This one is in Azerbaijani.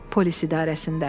Polis idarəsində.